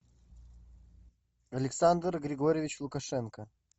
александр григорьевич лукашенко